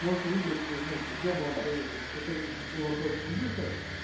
можете выбрать ну то есть я бы вам посоветовал если хотите чтобы было оплачено быстро